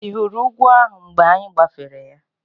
Ị hụrụ ugwu ahụ mgbe anyị gbafere ya?